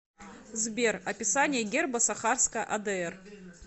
сбер описание герба сахарская адр